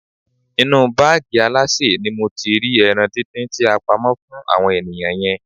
Inú báàgì alásè ni mo ti rí ẹran díndín tí a pamọ́ fún àwọn ènìyàn yẹn.